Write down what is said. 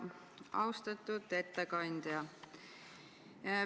Austatud ettekandja!